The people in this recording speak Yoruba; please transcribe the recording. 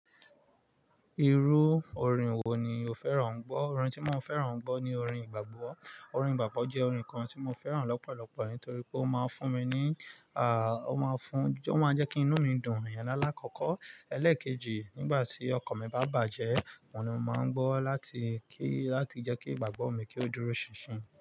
Irú orin wo ni o fẹ́ràn gbọ́? Orin tí mo fẹ́ràn gbọ́ ni orin ìgbàgbọ́. Orin ìgbàgbọ́ jẹ́ orin kan tí mo fẹ́ràn lọ́pọ̀lọ́pọ̀ nítorí pé ó máa ń fún mi ní, à, ó máa ń fún, ó máa ń jẹ́ kí inú mi dùn, ìyen lá l'akọkọ. Élékèjì, nígbà tí ọkan mi bá bàjẹ́, oun ní mo máa ń gbọ́ láti kí, láti jẹ́ kí ìgbàgbọ́ mi kí ó dúró ṣinṣin.